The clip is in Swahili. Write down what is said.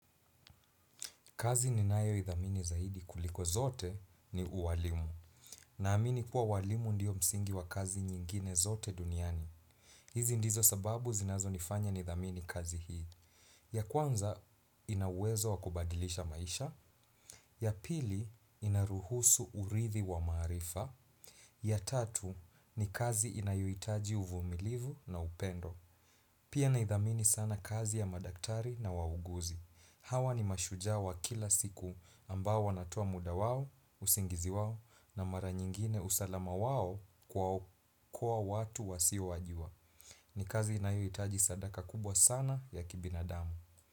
Kazi ninayo idhamini zaidi kuliko zote ni uwalimu. Naamini kuwa ualimu ndiyo msingi wa kazi nyingine zote duniani. Hizi ndizo sababu zinazo nifanya nidhamini kazi hii. Ya kwanza ina uwezo wa kubadilisha maisha. Ya pili inaruhusu urithi wa maarifa. Ya tatu ni kazi inayohitaji uvumilivu na upendo. Pia naidhamini sana kazi ya madaktari na wauguzi. Hawa ni mashujaa wa kila siku ambao wanatoa muda wao, usingizi wao na mara nyingine usalama wao kwa watu wasiowajua. Ni kazi inayohitaji sadaka kubwa sana ya kibinadamu.